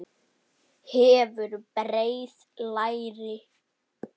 Hefur breið læri.